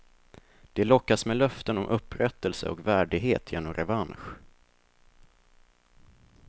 De lockas med löften om upprättelse och värdighet genom revansch.